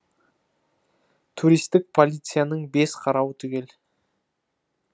туристік полицияның бес қарауы түгел